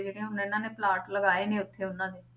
ਤੇ ਜਿਹੜੇ ਹੁਣ ਇਹਨਾਂ ਨੇ ਪਲਾਟ ਲਗਾਏ ਨੇ ਉੱਥੇ ਉਹਨਾਂ ਨੇ